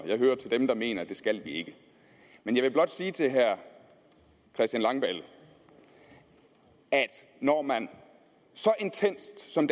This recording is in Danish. jeg hører til dem der mener at det skal vi ikke men jeg vil blot sige til herre christian langballe at når man så intenst som